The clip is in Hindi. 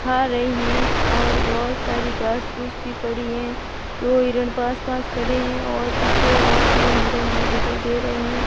खा रही हैं और बहोत सारी घास फूस भी पड़ी हैं दो हिरन पास पास खड़े हैं और पीछे और तीन हिरन भी दिखाई दे रहे हैं।